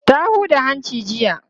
Ta huda hanci jiya.